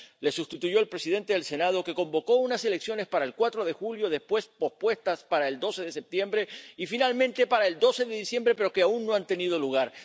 Le sustituyó el presidente del Senado, que convocó unas elecciones para el 4 de julio, después pospuestas para el 12 de septiembre y finalmente para el 12 de diciembre, pero que aún no han tenido lugar.